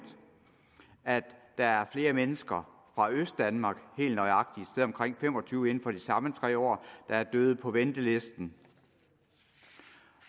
at der er flere mennesker fra østdanmark helt nøjagtigt et sted omkring fem og tyve inden for de samme tre år der er døde på ventelisten